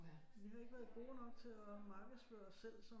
Vi har ikke været gode nok til at markedsføre os selv som